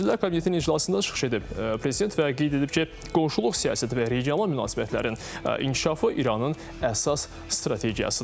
Nazirlər Kabinetinin iclasında çıxış edib prezident və qeyd edib ki, qonşuluq siyasəti və regional münasibətlərin inkişafı İranın əsas strategiyasıdır.